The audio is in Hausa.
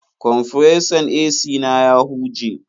Kwamfuresan AC na ya huje.